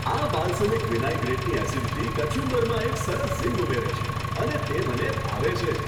આ બાલ્સમિક વિનાઈગ્રેટની એસિડિટી કચુંબરમાં એક સરસ ઝિંગ ઉમેરે છે અને તે મને ભાવે છે.